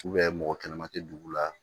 mɔgɔ kɛnɛma tɛ dugu la